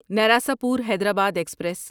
Narasapur Hyderabad express